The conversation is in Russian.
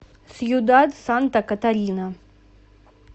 сьюдад санта катарина